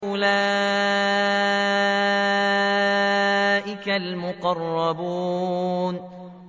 أُولَٰئِكَ الْمُقَرَّبُونَ